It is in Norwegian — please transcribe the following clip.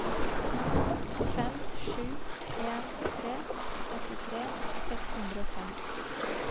fem sju en tre åttitre seks hundre og fem